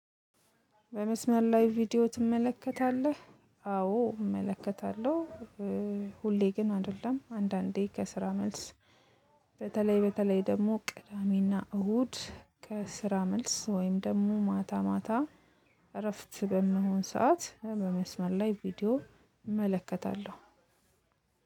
በመስመር ላይ ቪዲዮ ትመለከታለህ? አዎ እመለከታለሁ። ሁሌ ግን አይደለም አንዳንዴ ከስራ መልስ። በተለይ በተለይ ደግሞ ቅዳሜና እሁድ ከስራ መልስ ወይም ደግሞ ማታ ማታ እረፍት በምሆን ሰዓት በመስመር ላይ ቪዲዮ እመለከታለሁ።